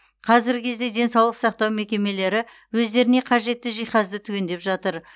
қазіргі кезде денсаулық сақтау мекемелері өздеріне қажетті жиһазды түгендеп жатыр